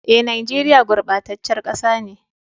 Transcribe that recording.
Eh, nageria gurbatacen kasa ne.